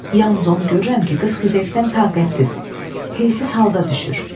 Yalnız onu görürəm ki, qız xizəkdən taqətsiz, heysiz halda düşür.